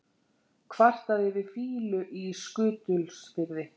Kvarta yfir fýlu í Skutulsfirði